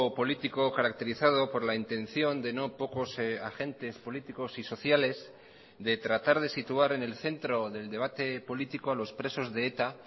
político caracterizado por la intención de no pocos agentes políticos y sociales de tratar de situar en el centro del debate político a los presos de eta